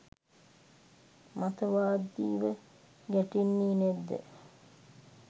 මතවාදීව ගැටෙන්නෙ නැද්ද?